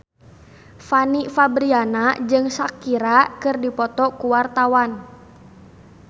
Fanny Fabriana jeung Shakira keur dipoto ku wartawan